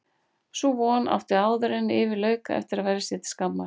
Sú von átti áðuren yfir lauk eftir að verða sér til skammar.